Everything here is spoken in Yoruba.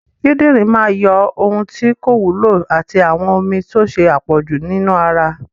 Kidinrin máa yọ ohun tí kò wúlò àti àwọn omi tó ṣe àpọ̀jù nínú ara